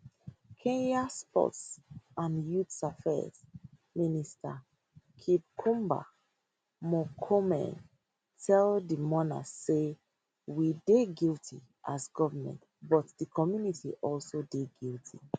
kenya sports and youth affairs minister kipchumba murkomen tell di mourners say we dey guilty as goment but di community also dey guilty